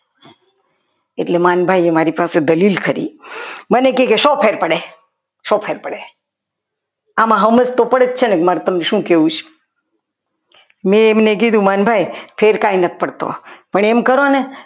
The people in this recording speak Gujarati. એટલે માલ ભાઈએ મારી પાસે દલીલ કરી મને કહેશો ફેર પડે સો ફેર પડે આમાં તો સમજ તો પડે જ છે ને કે મારે તમને શું કહેવું છે મેં એમને કીધું કે માનભાઈ ફેર કાંઈ નથ પડતો પણ એમ કરો ને